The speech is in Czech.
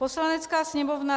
Poslanecká sněmovna